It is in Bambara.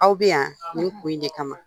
Aw bɛ yan nin kun in de kama